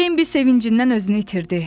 Bembi sevincindən özünü itirdi.